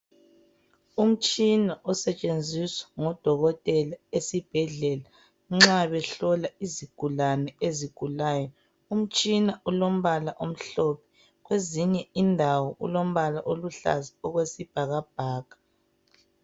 Umtshina osetshenziswa ngodokotela esibhedlela nxa behlola isigulane ezigulayo. Umtshina ulombala omhlophe. Kwezinye indawo ulombala oluhlaza okwesibhakabhaka.